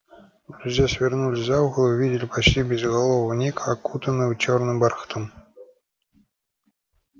друзья свернули за угол и увидели почти безголового ника окутанного чёрным бархатом